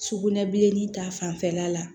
Sugunɛbilenni ta fanfɛla la